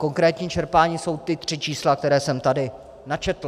Konkrétní čerpání jsou ta tři čísla, která jsem tady načetl.